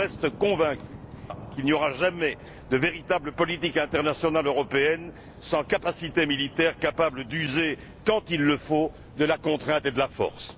Mais je reste convaincu qu'il n'y aura jamais de véritable politique internationale européenne sans capacité militaire capable d'user quand il le faut de la contrainte et de la force.